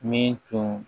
Min tun